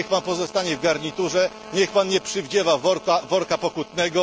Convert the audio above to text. Niech Pan pozostanie w garniturze, niech Pan nie przywdziewa worka pokutnego!